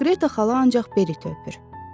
Qreta xala ancaq Beriti öpür.